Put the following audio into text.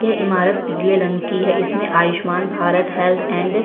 ये ईमारत ग्रे रंग की है इसमें आयुष्मान भारत हेल्थ एंड --